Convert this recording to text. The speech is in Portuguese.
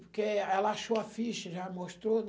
Porque ela achou a ficha, já mostrou, né?